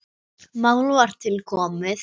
Mál var til komið.